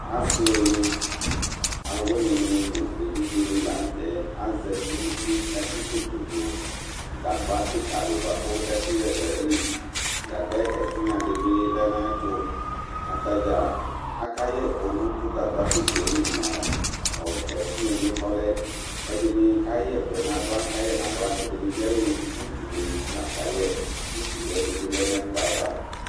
asi alu awuini nu evidze ni la nu tɛ azati nu uti ku atsi koto du gagba kika di bʋa ku ɛkuyɛ du ayili, gagba yɛ ɛtigna di bi lɛ nu ata mi ɛtu, ata dza aka yɛ ɛku nu tu gagba kika yɛ li nu , ɔ , ɛtigna muio yɛ kɔlɛ , ɛdini ka yɛ ɛku yɛ nu aɣla, ɛdini bi ayɔ utu li la ka yɛ, utu li ɛdi bi ye nu ɛkplɔ yɛ ava